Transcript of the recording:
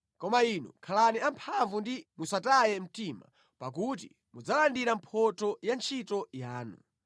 Koma inu, khalani amphamvu ndipo musataye mtima, pakuti mudzalandira mphotho ya ntchito yanu.”